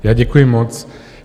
Já děkuji moc.